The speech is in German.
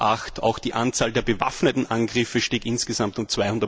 2008. Auch die Anzahl der bewaffneten Angriffe stieg insgesamt um